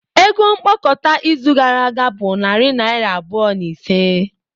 Ego mkpokọta izu gara aga bụ narị naira abụọ na ise.